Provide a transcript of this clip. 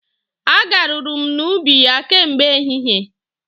A garuru m n'ubi ya kemgbe ehihie.